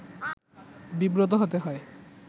বিব্রত হতে হয়